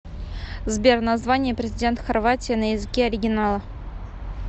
сбер название президент хорватии на языке оригинала